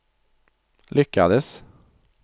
lyckades